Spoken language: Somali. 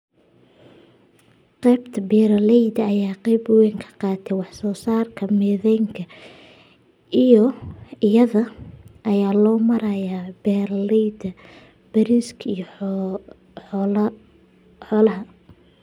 Qaybta beeralayda ayaa qayb wayn ka qaata wax soo saarka methane-ka iyada oo loo marayo beeralayda bariiska iyo xoolaha.